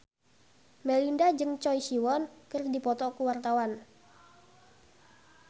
Melinda jeung Choi Siwon keur dipoto ku wartawan